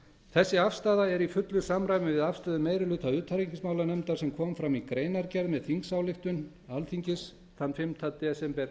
þessi afstaða er í fullu samræmi við afstöðu meirihluta utanríkismálanefndar sem kom fram í greinargerð með þingsályktuninni frá fimmta desember